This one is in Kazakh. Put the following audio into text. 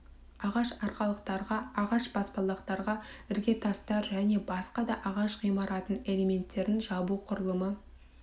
ағаш арқалықтарға ағаш баспалдақтарға іргетастар және басқа да ағаш ғимаратының элементтерінің жабу құрылымы